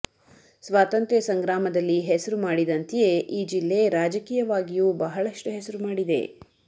ಸ್ವಾತಂತ್ರ್ಯ ಸಂಗ್ರಾಮದಲ್ಲಿ ಹೆಸರು ಮಾಡಿದಂತೆಯೇ ಈ ಜಿಲ್ಲೆ ರಾಜಕೀಯವಾಗಿಯೂ ಬಹಳಷ್ಟು ಹೆಸರು ಮಾಡಿದೆ